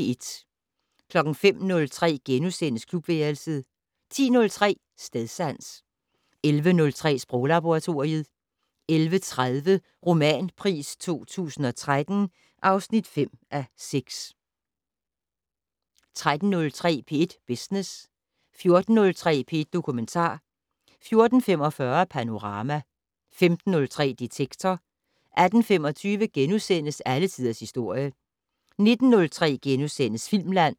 05:03: Klubværelset * 10:03: Stedsans 11:03: Sproglaboratoriet 11:30: Romanpris 2013 (5:6) 13:03: P1 Business 14:03: P1 Dokumentar 14:45: Panorama 15:03: Detektor 18:25: Alle tiders historie * 19:03: Filmland *